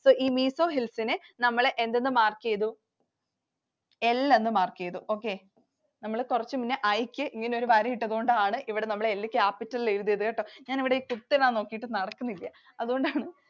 അപ്പോൾ ഈ Mizo Hills നെ നമ്മൾ എന്തെന്ന് mark ചെയ്തു? L ന്ന് mark ചെയ്തു. Okay. നമ്മൾ കുറച്ചുമുന്നേ I ക്കു ഇങ്ങനെ ഒരു വര ഇട്ടതു കൊണ്ടാണ് ഇവിടെ നമ്മൾ L capital ൽ എഴുതിയത് കേട്ടോ. ഞാൻ ഇവിടെ കുത്തിടാൻ നോക്കിയിട്ടു നടക്കുന്നില്ല. അത് കൊണ്ടാണ്